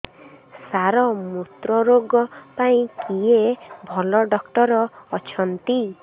ସାର ମୁତ୍ରରୋଗ ପାଇଁ କିଏ ଭଲ ଡକ୍ଟର ଅଛନ୍ତି